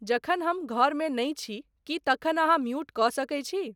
जखन हम घर मे नहिं छी कि तखन अहाँ म्यूट कऽ सकैत छी